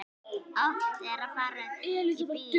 Oft er farið í bíó.